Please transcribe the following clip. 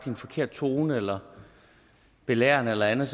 en forkert tone eller belærende eller andet